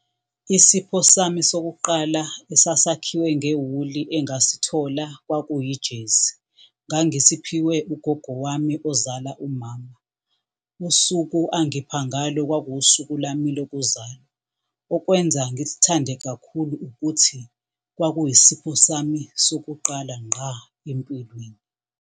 Isipho sami sokuqala esasakhiwe ngewuli engasithola kwakuyijezi. Ngangisiphiwe ugogo wami ozala umama, usuku angipha ngalo kwakuwusuku lwami lokuzalwa. Okwenza ngisithande kakhulu ukuthi kwakuyisipho sami sokuqala ngqa empilweni.